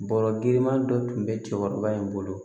Bɔrɔ girinman dɔ tun bɛ cɛkɔrɔba in bolo